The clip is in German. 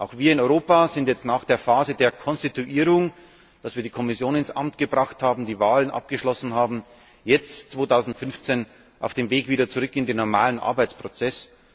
Auch wir in Europa sind jetzt nach der Phase der Konstituierung nachdem wir die Kommission ins Amt gebracht haben, die Wahlen abgeschlossen haben jetzt, 2015, auf dem Weg wieder zurück in den normalen Arbeitsprozess.